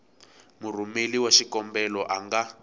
murhumeri wa xikombelo a nga